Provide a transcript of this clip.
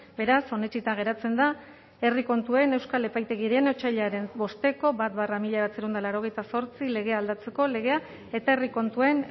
beraz onetsita geratzen da herri kontuen euskal epaitegiaren otsailaren bost barra mila bederatziehun eta laurogeita zortzi legea aldatzeko legea eta herri kontuen